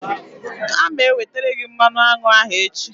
A ma ewetere gị mmanụ aṅụ ahụ echi.